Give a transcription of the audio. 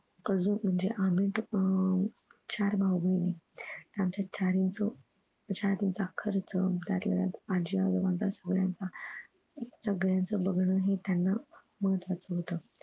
अजून म्हणजे आम्ही दोघ अह चार भाऊ बहिणी आमच्या चारच शाळेचा खर्च त्यातल्या त्यात आजी आजोबांचा सगळ्यांनाच अह सगळ्यांचं बघणं हे त्यांना महत्वाचं होत